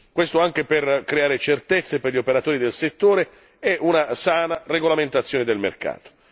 Questo anche per creare certezze per gli operatori del settore e una sana regolamentazione del mercato.